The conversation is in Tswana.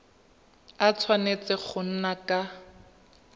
a tshwanetse go nna ka